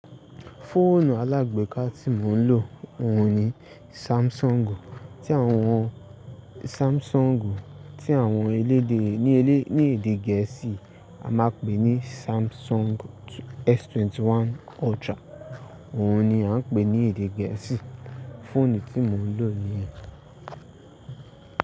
Fóònù alágbeeka tí mò ń lò, òun ni Samsung. Tí àwọn Samsung tí àwọn elédè, ní elé, ní èdè gẹ̀ẹ́sì a máa pè ní Samsung S21 Ultra. Òun ni à ń pè ní èdè gẹ̀ẹ́sì. Fóònù tí mò ń lò ní ẹ.